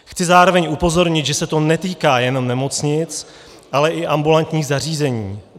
Chci zároveň upozornit, že se to netýká jenom nemocnic, ale i ambulantních zařízení.